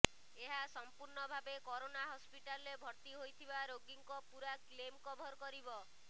ଏହା ସଂପୂର୍ଣ୍ଣ ଭାବେ କରୋନା ହସ୍ପିଟାଲରେ ଭର୍ତ୍ତି ହୋଇଥିବା ରୋଗୀଙ୍କର ପୁରା କ୍ଲେମ୍ କଭର କରିବ